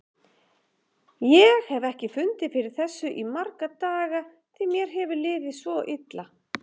Ég hef ekki fundið fyrir þessu í marga daga því mér hefur liðið svo illa.